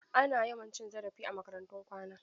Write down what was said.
Ana yawan cin zarafi a makarantun kwana.